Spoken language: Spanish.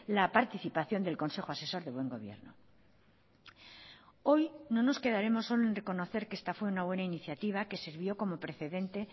la participación del consejo asesor de buen gobierno hoy no nos quedaremos solo en reconocer que esta fue una buena iniciativa que sirvió como precedente